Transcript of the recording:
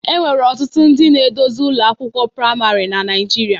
Enwere ọtụtụ ndị isi ụlọ akwụkwọ praịmarị na Naịjirịa